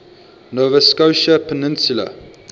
nova scotia peninsula